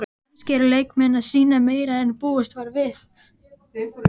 Kannski eru leikmenn að sýna meira en búist var við?